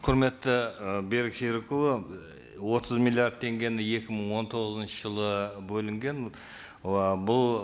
құрметті і берік серікұлы і отыз миллиард теңгені екі мың он тоғызыншы жылы бөлінген ы бұл